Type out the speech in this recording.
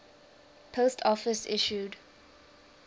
post office issued